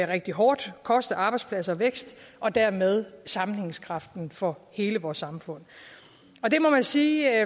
rigtig hårdt og koste arbejdspladser vækst og dermed sammenhængskraften for hele vores samfund og det må man sige